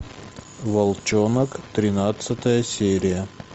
волчонок тринадцатая серия